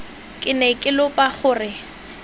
ke ne ke lopa gore